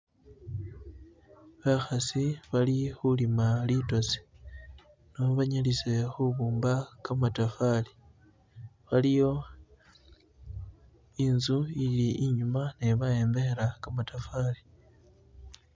Bakhasi bali khulima litosi nebanyalise khubumba gamatafali waliyo inzu inyuma nyo bayombekhela gamatafari.